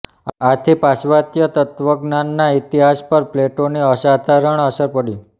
આથી પાશ્ચાત્ય તત્ત્વજ્ઞાનના ઈતિહાસ પર પ્લેટોની અસાધારણ અસર પડી